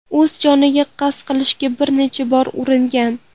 O‘z joniga qasd qilishga bir necha bor uringan.